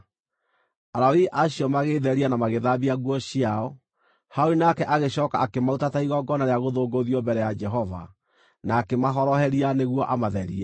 Alawii acio magĩĩtheria na magĩthambia nguo ciao. Harũni nake agĩcooka akĩmaruta ta igongona rĩa gũthũngũthio mbere ya Jehova, na akĩmahoroheria nĩguo amatherie.